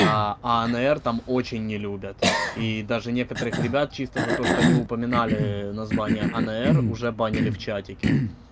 анр там очень не любят и даже некоторых ребят чисто за то что они упоминали названия анр уже банили в чатике